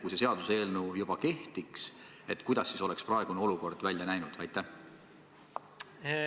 Kui see seadus juba kehtiks, kuidas siis praegune olukord välja näeks?